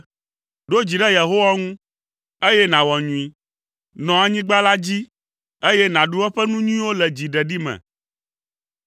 Ɖo dzi ɖe Yehowa ŋu, eye nàwɔ nyui; nɔ anyigba la dzi, eye nàɖu eƒe nu nyuiwo le dziɖeɖi me.